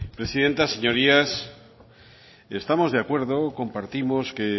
presidenta señorías estamos de acuerdo compartimos que